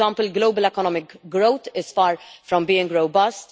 For example, global economic growth is far from being robust.